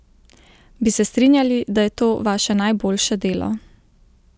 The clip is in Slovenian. Bi se strinjali, da je to vaše najboljše delo?